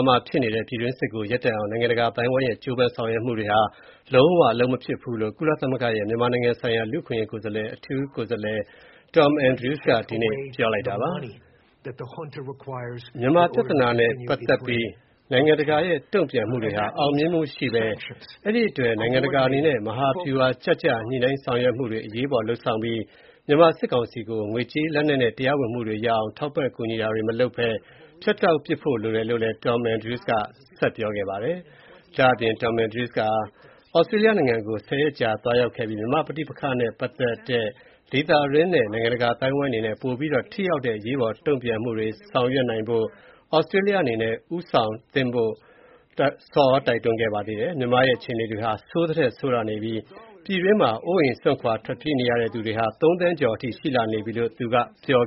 မှာဖြစ်နေတဲ့ ပြည်တွင်းစစ်ကို ရပ်တန့်အောင် နိုင်ငံတကာအသိုင်းအဝိုင်းရဲ့ ကြိုးပမ်းဆောင်ရွက်မှုတွေဟာ လုံးဝအလုပ်မဖြစ်ဘူးလို့ ကုလသမဂ္ဂရဲ့ မြန်မာနိုင်ငံဆိုင်ရာလူ့အခွင့်အရေးဆိုင်ရာ အထူးကိုယ်စားလှယ် Tom Andrews က ဒီနေ့ ပြောလိုက်ပါတယ်။ မြန်မာပြဿနာနဲ့ ပတ်သက်ပြီး နိုင်ငံတကာရဲ့ တုံံ့ပြန်မှုတွေဟာ အောင်မြင်မှုမရှိဘဲ အဲဒီအတွက် နိုင်ငံတကာအနေနဲ့ မဟာဗျူဟာကျကျ ညှိနှိုင်းဆောင်ရွက်မှုတွေ အရေးပေါ်လုပ်ဆောင်ပြီး၊ မြန်မာစစ်ကောင်စီကို ငွေကြေး၊ လက်နက် နဲ့ တရားဝင်မှုတွေရအောင် ထောက်ပံ့ ကူညီတာတွေ မလုပ်ဘဲ ဖြတ်တောက်ပစ်ဖို့ လိုအပ်တယ်လို့ လည်း Tom Andrews က တိုက်တွန်းလိုက်ပါတယ်။ မစ္စတာ Tom Andrews ဟာ သြစတြေးလျနိုင်ငံကို ၁၀ ရက်ကြာ သွားရောက်ခဲ့ပြီး၊ မြန်မာ့ပဋိပက္ခနဲ့ ပတ်သက်ပြီး ဒေသတွင်း နဲ့ နိုင်ငံတကာအသိုင်းအဝိုင်းအနေနဲ့ ပိုပြီးတော့ ထိရောက်တဲ့ အရေးပေါ် တုံ့ပြန်မှုတွေ ဆောင်ရွက်နိုင်ဖို့အတွက် သြစတြေးလျအနေနဲ့ ဦးဆောင်သင့်ဖို့ ဆော်ဩတိုက်တွန်းခဲ့ပါတယ်။ မြန်မာနိုင်ငံရဲ့ အခြေအနေတွေဟာ ဆိုးသထက်ဆိုးလာနေပြီး၊ ပြည်တွင်းမှာ အိုးအိမ်စွန့်ခွာထွက်ပြေးနေရတဲ့သူတွေဟာ ၃ သန်းကျော်အထိ ရှိလာနေပြီလို့ သူက ပြော